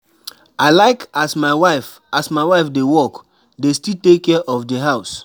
E good sey woman wey dey work dey wait make wait make her husband give her moni for everytin?